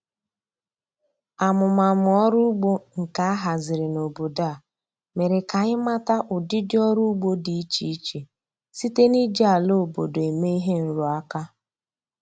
Amụmamụ ọrụ ugbo nke a haziri n'obodo a mere k'anyị mata ụdịdị ọrụ ugbo dị iche iche site n'iji ala obodo eme ihe nrụaka